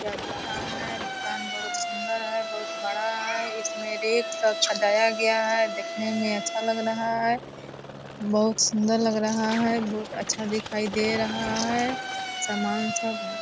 यह दूकान है दुकान बहुत सुंदर है बहुत बड़ा है इसमें रेक सब सजाया गया है देखने में अच्छा लग रहा है बहुत सुंदर लग रहा है बहुत अच्छा दिखाई दे रहा है सामान सब ।